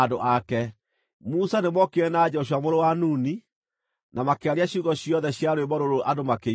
Musa nĩmookire na Joshua mũrũ wa Nuni, na makĩaria ciugo ciothe cia rwĩmbo rũrũ andũ makĩiguaga.